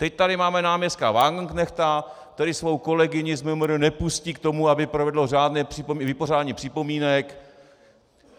Teď tady máme náměstka Wagenknechta, který svou kolegyni z MMR nepustí k tomu, aby provedlo řádné vypořádání připomínek.